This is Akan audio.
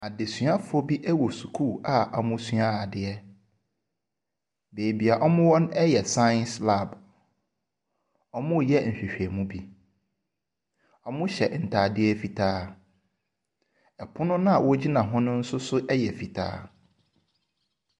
Adesuafoɔ bi ɛwɔ sukuu a wɔn resua adeɛ. baabi a wɔn wɔ no yɛ science lab. Ɔreyɛ nhwehwɛmu bi. Ɔhyɛ ntaadeɛ fitaa, pono naa wɔgyina ho no nso yɛ fitaa.